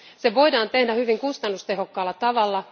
Se voidaan tehdä hyvin kustannustehokkaalla tavalla.